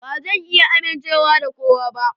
Ba zan iya amincewa da kowa ba.